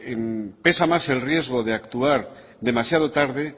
pesa más el riesgo de actuar demasiado tarde